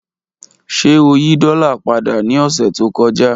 Ṣe o yi dola pada ni ọsẹ to kọja?